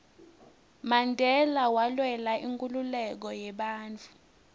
mandela walwela inkhululeko yebantfu